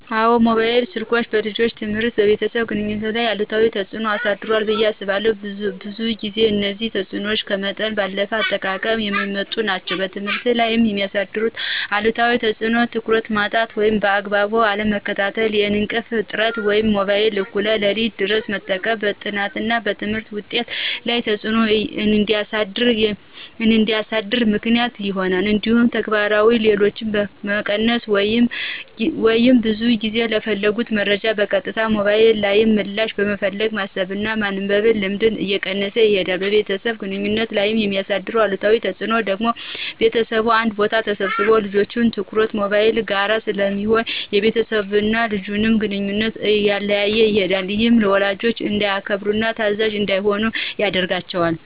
አዎን፣ የሞባይል ስልኮች በልጆች ትምህርትና በቤተሰብ ግንኙነት ላይ አሉታዊ ተጽዕኖ አሳድሯል ብየ አስባለሁ። ብዙ ጊዜም እነዚህ ተጽዕኖዎች ከመጠን ባለፈ አጠቃቀም የሚመጡ ናቸው። በትምህርት ላይ የሚያሳድረው አሉታዊ ተፅዕኖ ትኩረት ማጣት ወይም በአግባቡ አለመከታተል፣ የእንቅልፍ እጥረት(ሞባይልን እኩለ ሌሊት ድረስ በመጠቀም) በጥናትና በትምህርት ውጤት ላይ ተፅዕኖ እንዲያሳድር ምክንያት ይሆናል። እንዲሁም ተግባራዊ ችሎታን መቀነስ(ብዙ ጊዜ ለፈለጉት መረጃ በቀጥታ ሞባይል ላይ ምላሽ በመፈለግ የማሰብና የማንበብ ልምድን እየቀነሰ ይሄዳል። በቤተሰብ ግንኙነት ላይ የሚያሳድረው አሉታዊ ተፅዕኖ ደግሞ ቤተሰቡ አንድ ቦታ ተሰብስበው ልጆች ትኩረታቸው ሞባይል ጋር ስለሚሆን የቤተሰብና የልጅን ግንኙነት እያላላው ይሄዳል። ይህም ወላጅን እንዳያከብሩና ታዛዥ እንዳይሆኑ ያደርጋቸዋል።